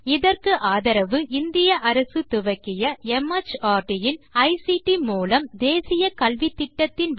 இதற்கு ஆதரவு இந்திய அரசு துவக்கிய மார்ட் இன் ஐசிடி மூலம் தேசிய கல்வித்திட்டத்தின் வழியே கிடைக்கிறது